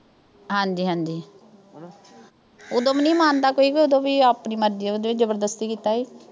ਹਾਂਜੀ-ਹਾਂਜੀ ਉਦੋਂ ਵੀ ਨੀਂ ਮੰਨਦਾ ਕੋਈ, ਉਦੋਂ ਆਪਣੀ ਮਰਜ਼ੀ ਸੀ, ਕਿਹੜਾ ਜ਼ਬਰਦਸਤੀ ਕੀਤਾ ਸੀ।